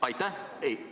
Aitäh!